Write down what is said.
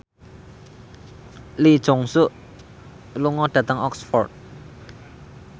Lee Jeong Suk lunga dhateng Oxford